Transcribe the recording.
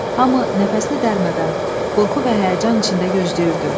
Hamı nəfəsini dərmədən, qorxu və həyəcan içində gözləyirdi.